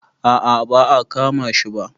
a a ba a kama shi ba